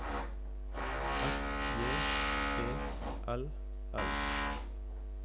F J E L L